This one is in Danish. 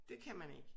Det kan man ikke